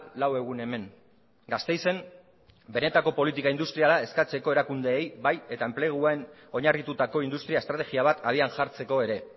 lau egun hemen gasteizen benetako politika industriala eskatzeko erakundeei bai eta enpleguen oinarritutako industria estrategia bat abian jartzeko ere